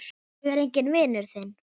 Ég er enginn vinur þinn!